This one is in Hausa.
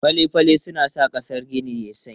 Fale-fale suna sa ƙasan gini yayi sanyi.